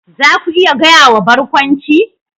Za ku iya gaya wa Barkwanci?